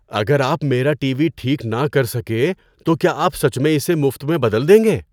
اگر آپ میرا ٹی وی ٹھیک نہ کر سکے تو کیا آپ سچ میں اسے مفت میں بدل دیں گے؟